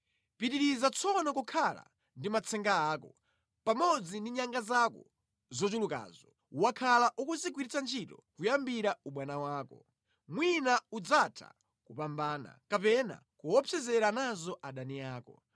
“Pitiriza tsono kukhala ndi matsenga ako, pamodzi ndi nyanga zako zochulukazo, wakhala ukuzigwiritsa ntchito kuyambira ubwana wako. Mwina udzatha kupambana kapena kuopsezera nazo adani ako.